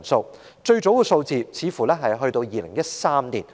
這項資料的最早數字似乎只追溯至2013年。